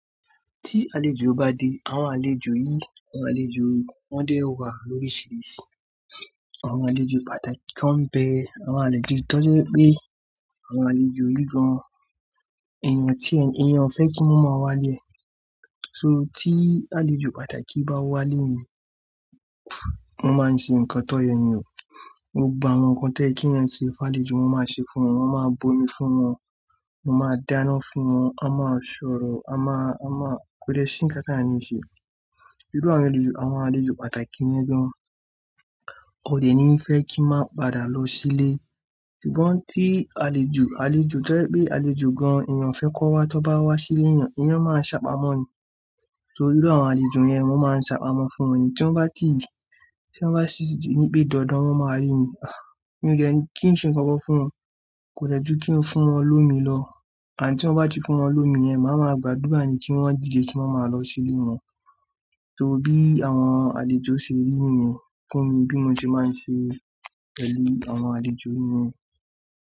Tí àlejò bá dé, àwọn àlejò yìí, àwọn àlejò wọ́n dé wà lóríṣìíríṣìí. Àwọn àlejò pàtàkì kan bẹ àwọn àlejò tọ́ pé àwọn àlejò onígbọ̀n. Èèyàn tí ènìyàn o fẹ́ kí wọ́n má wá lé e So tí àlejò pàtàkì bá wá lé mi, wọ́n máa ń ṣe nǹkan tọ́yẹ ni. Gbogbo àwọn nǹkan toye ki ènìyàn ṣe fún àlejò, wọ́n máa ṣe fún wọn, wọ́n máa bo omi fún wọn, wọ́n máa dáná fún wọn, a máa sọ̀rọ̀, a máa, a máa kó de sí ń káta ni a ń ṣe. Irú àwọn àlejò, àwọn àlejò pàtàkì yẹn gan, kò dè ní fẹ́ kí n má padà lọ sílé. Ṣùgbọ́n tí àlejò, àlejò tọ́ je pé àlejò gan èèyàn o fẹ́ kan wá, tí wọ́n bá wá sílé èèyàn, èèyàn máa ń ṣàpamọ́ ni. Torí iru àwọn àlejò yẹn, wọ́n máa ń ṣàpamọ́ fún wọn ni. Tí wọ́n bá ti, tí wọ́n bá si ní pé dandan, wọ́n máa rí mi. Mi o de kí n ṣe ńnkan kan fún wọn, kò dẹ ju kí n fún wọn lómi lọ. Ànd tí wọ́n bá ti fún wọn lómi yẹn, máa ma gbàdúrà ni kí wọ́n didẹ kí wọ́n máa lọ sílé wọn. Torí bí àwọn àlejò ṣe rí nìyẹn fún mi bí mo ṣe máa ń ṣe pẹ̀lú àwọn àlejò nìyẹn.